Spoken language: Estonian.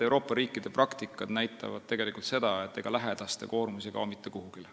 Euroopa riikide praktika näitab, et ega lähedaste koormus ei kao mitte kuhugi.